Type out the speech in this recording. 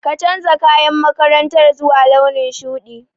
Ka canja kayan makarantar zuwa launin shuɗi.